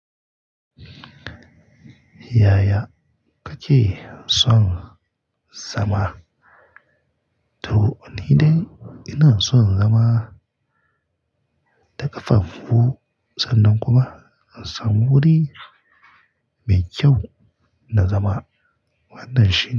Yaya kake son zama? To ni dai ina son zama da ƙafafu sannan kuma in samu wuri mai kyau na zama wannan shi.